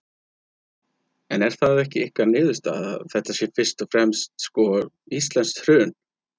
En það er ekki ykkar niðurstaða, þetta sé fyrst og fremst, sko, íslenskt hrun?